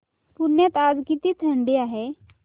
पुण्यात आज किती थंडी आहे